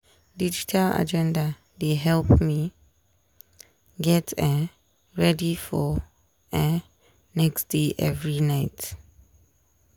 digital agenda dey help me get um ready for um next day every night.